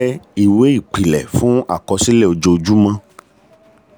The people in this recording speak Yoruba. ìwé ìṣirò owó jẹ́ ìwé owó jẹ́ ìwé ìpìlẹ̀ fún àkọsílẹ̀ ojoojúmọ́.